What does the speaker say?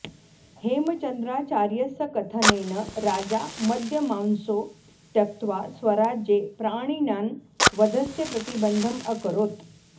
हेमचन्द्राचार्यस्य कथनेन राजा मद्यमांसौ त्यक्त्वा स्वराज्ये प्राणिनां वधस्य प्रतिबन्धम् अकरोत्